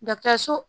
so